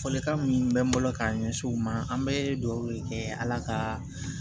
Fɔlikan min bɛ n bolo k'a ɲɛsin u ma an bɛ dugawu kɛ ala ka